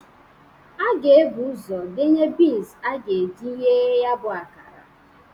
A ga-ebu ụzọ denye bins a ga-eji ghee ya bụ akara.